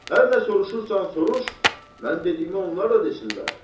Hər nə soruşursan soruş, mən dediyimə onlar da desinlər.